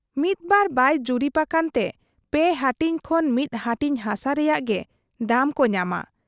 ᱢᱤᱫᱢᱟ ᱵᱟᱭ ᱡᱩᱨᱤᱵᱽ ᱟᱠᱟᱱ ᱛᱮ ᱯᱮ ᱦᱟᱹᱴᱤᱧ ᱠᱷᱚᱱ ᱢᱤᱫ ᱦᱟᱹᱴᱤᱧ ᱦᱟᱥᱟ ᱨᱮᱭᱟᱜ ᱜᱮ ᱫᱟᱢ ᱠᱚ ᱧᱟᱢᱟ ᱾